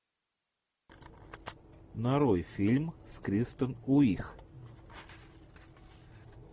нарой фильм с кристен уиг